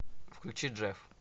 включи джеф